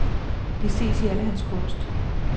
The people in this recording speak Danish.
Det ses i al hans kunst.